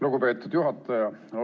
Lugupeetud juhataja!